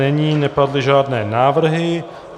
Není, nepadly žádné návrhy.